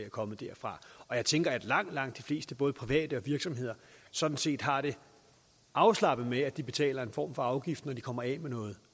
er kommet derfra og jeg tænker at langt langt de fleste både private og virksomheder sådan set har det afslappet med at de betaler en form for afgift når de kommer af med noget